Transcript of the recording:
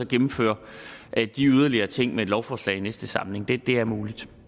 gennemføre de yderligere ting med et lovforslag i næste samling det er muligt